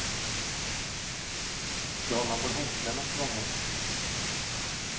Då har man både hängslen och svångrem.